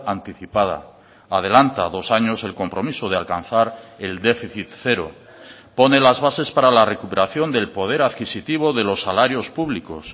anticipada adelanta dos años el compromiso de alcanzar el déficit cero pone las bases para la recuperación del poder adquisitivo de los salarios públicos